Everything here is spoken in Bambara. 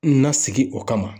Na sigi o kama.